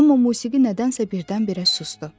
Amma musiqi nədənsə birdən-birə susdu.